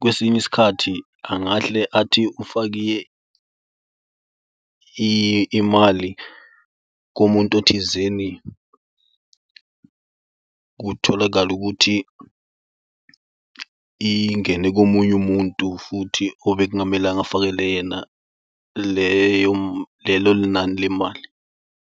kwesinye isikhathi angahle athi ufake imali komuntu othizeni kutholakale ukuthi ingene komunye umuntu futhi obekungamelanga afakele yena leyo lelo nani lemali.